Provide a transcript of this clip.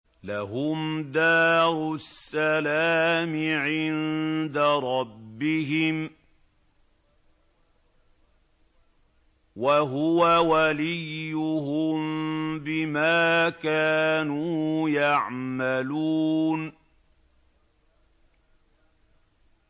۞ لَهُمْ دَارُ السَّلَامِ عِندَ رَبِّهِمْ ۖ وَهُوَ وَلِيُّهُم بِمَا كَانُوا يَعْمَلُونَ